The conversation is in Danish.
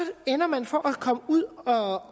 ender man for at komme ud over